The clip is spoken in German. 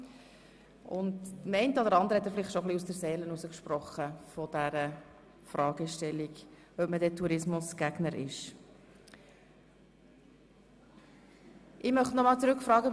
Dem einen oder anderen hat Grossrat Wüthrich vielleicht bezüglich der Frage, ob man dann Tourismusgegner ist oder nicht, schon etwas aus der Seele gesprochen.